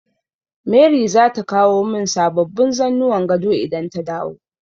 Mary zata kawo min sababbin zannuwan gado idan ta dawo.